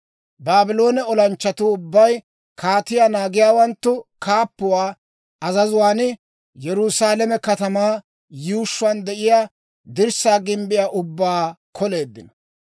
Baabloone olanchchatuu ubbay kaatiyaa naagiyaawanttu kaappuwaa azazuwaan, Yerusaalame katamaa yuushshuwaan de'iyaa dirssaa gimbbiyaa ubbaa k'oleeddino.